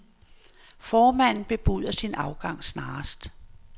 Formanden bebuder sin afgang snarest.